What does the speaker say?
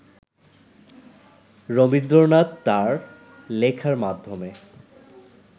রবীন্দ্রনাথ তাঁর লেখার মাধ্যমে